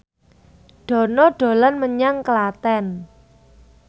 Dono dolan menyang Klaten